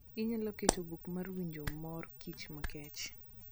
inyalo keto buk mar winjo mor kich makech